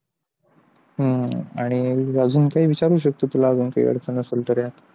हम्म आणि अजून काय विचारू शकतो तुला काही अडचण असेल तर यात